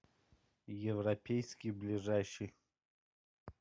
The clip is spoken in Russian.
европейский ближайший